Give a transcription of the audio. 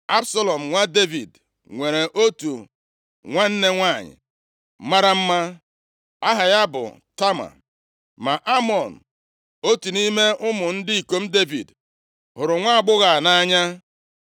Absalọm nwa Devid nwere otu nwanne nwanyị mara mma, aha ya bụ Tama. + 13:1 Tama bụ nwa nwanyị Maaka, nwa Talmi, eze Geshua \+xt 2Sa 3:3\+xt* Amnọn bụ ọkpara Devid, nke Ahinoam nwunye mbụ ya mụtara. Nʼusoro omenaala, ọ bụ Amnọn kwesiri ịnọchi anya eze ma ọ nwụọ. Ma Amnọn, otu nʼime ụmụ ndị ikom Devid, hụrụ nwaagbọghọ a nʼanya.